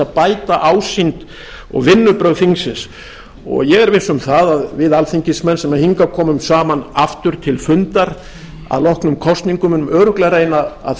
bæta ásýnd og vinnubrögð þingsins ég er viss um það að við alþingismenn sem hingað komum saman aftur til fundar að loknum kosningum munum örugglega reyna að